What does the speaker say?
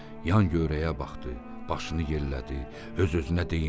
Yan-yörəyə baxdı, başını yellədi, öz-özünə deyindi.